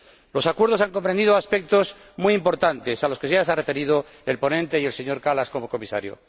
Los acuerdos han comprendido aspectos muy importantes, a los que ya se han referido el ponente y el señor Kallas, como Comisario.